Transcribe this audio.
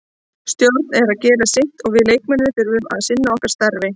Stjórinn er að gera sitt og við leikmennirnir þurfum að sinna okkar starfi.